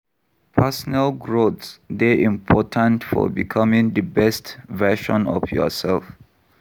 Personal growth dey important for becoming di best version of yourself.